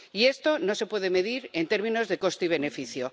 Y esto no se puede medir en términos de coste y beneficio.